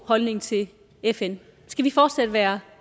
holdning til fn skal vi fortsæt være